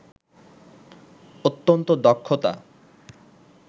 অত্যন্ত দক্ষতা